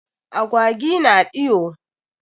Agwawi na ɗiwo.